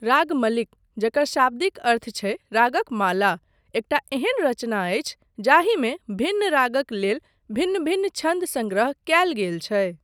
रागमलिक, जकर शाब्दिक अर्थ छै रागक माला, एकटा एहन रचना अछि जाहिमे भिन्न रागक लेल भिन्न भिन्न छन्द सङ्ग्रह कयल गेल छै।